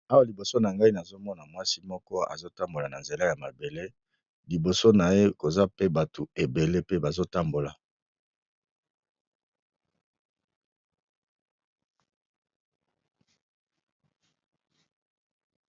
awa liboso na ngai nazomona mwasi moko azotambola na nzela ya mabele liboso na ye koza pe bato ebele pe bazotambola